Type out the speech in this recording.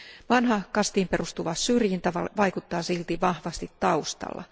Vanha kastiin perustuva syrjintä vaikuttaa silti vahvasti taustalla.